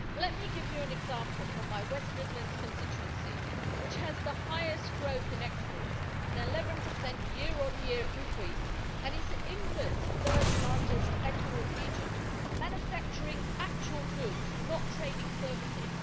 Let me give you an example from my West Midlands constituency, which has the highest growth in exports an 11 year on year increase and is England's third largest export region, manufacturing actual goods, not trading services.